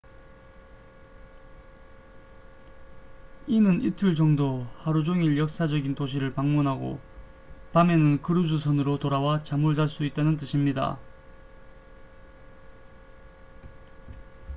이는 이틀 정도 하루 종일 역사적인 도시를 방문하고 밤에는 크루즈 선으로 돌아와 잠을 잘 수 있다는 뜻입니다